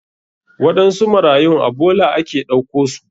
Waɗansu marayun a bola ake ɗauko su.